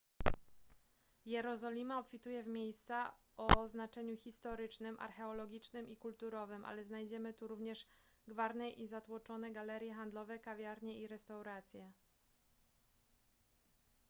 jerozolima obfituje w miejsca o znaczeniu historycznym archeologicznym i kulturowym ale znajdziemy tu również gwarne i zatłoczone galerie handlowe kawiarnie i restauracje